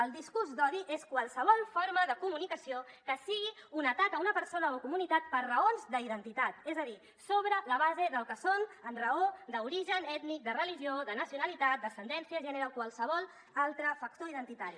el discurs d’odi és qualsevol forma de comunicació que sigui un atac a una persona o comunitat per raons d’identitat és a dir sobre la base del que són amb raó d’origen ètnic de religió de nacionalitat d’ascendència gènere o qualsevol altre factor identitari